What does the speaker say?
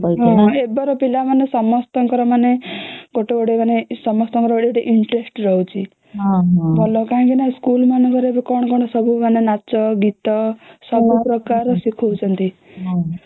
ଏବର ପିଲା ମାନେ ସମସ୍ତଙ୍କର ମାନେ ଗୋଟେ ଗୋଟେ ସମସ୍ତଙ୍କର ଗୋଟେ ଗୋଟେ interest ରହୁଛି ଭଲ କାହିଁକି ନ ସ୍କୁଲ ମାନଙ୍କରେ ଏବେ କଣ କଣ ସବୁ ନାଚ ଗୀତ ସବୁ ପ୍ରକାର ଶିଖାଉଛନ୍ତି